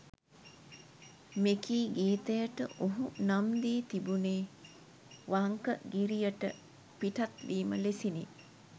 මෙකී ගීතයට ඔහු නම් දී තිබුණේ වංකගිරියට පිටත් වීම ලෙසිනි.